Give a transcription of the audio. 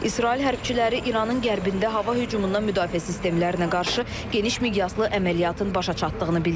İsrail hərbçiləri İranın qərbində hava hücumundan müdafiə sistemlərinə qarşı geniş miqyaslı əməliyyatın başa çatdığını bildiriblər.